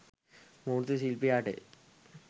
මූර්ති ශිල්පියාට